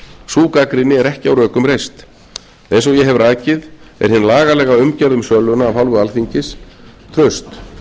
sú gagnrýni er ekki á rökum reist eins og ég hef rakið er hin lagalega umgjörð um söluna af hálfu alþingis traust